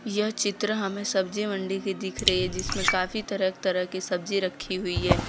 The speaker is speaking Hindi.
यह चित्र हमें सब्जी मंडी की दिख रही है जिसमें काफी तरह तरह की सब्जी रखी हुई है।